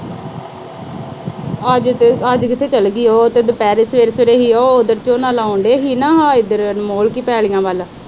ਅੱਜ ਕਿਤੇ ਚਲੀ ਗਈ ਉਹ ਤੇ ਦੁਪਹਿਰੇ, ਸਵੇਰੇ-ਸਵੇਰੇ ਅਸੀਂ ਉਧਰ ਝੋਨਾ ਲਾਉਣਦੇ ਸੀ ਨਾ ਦੀਆਂ ਝਾੜੀਆਂ ਵੱਲ।